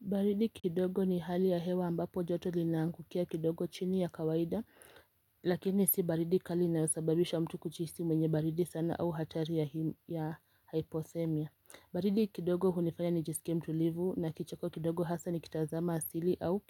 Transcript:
Baridi kidogo ni hali ya hewa ambapo joto linangukia kidogo chini ya kawaida lakini si baridi kali inayosababisha mtu kuhisi mwenye baridi sana au hatari ya hypothemia baridi kidogo hunifanya nijisike mtu livu na kichako kidogo hasa nikitazama asili au